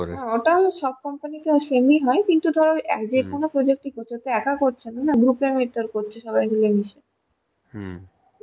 হ্যাঁ ওটা সব company তে same হয় কিন্তু ধরো যেকোনো project একা করছে না group এ কাজ করছে সবাই মিলে মিশে